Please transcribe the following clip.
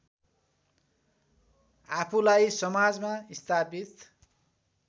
आफूलाई समाजमा स्थापित